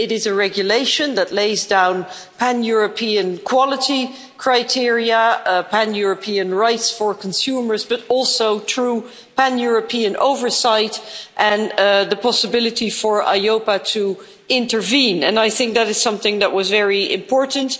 It is a regulation that lays down pan European quality criteria, pan European rights for consumers but also true pan European oversight and the possibility for EIOPA to intervene, and I think that is something that was very important.